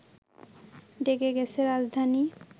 ডেকে গেছে রাজধানী